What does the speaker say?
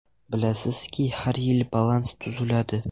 Bilasizki, har yili balans tuziladi.